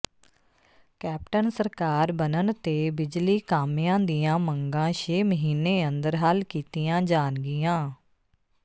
captain ਸਰਕਾਰ ਬਨਣ ਤੇ ਬਿਜਲੀ ਕਾਮਿਆਂ ਦੀਆਂ ਮੰਗਾਂ ਛੇ ਮਹੀਨੇ ਅੰਦਰ ਹੱਲ ਕੀਤੀਆਂ ਜਾਣਗੀਆਂ